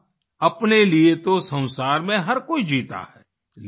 अर्थात् अपने लिए तो संसार में हर कोई जीता है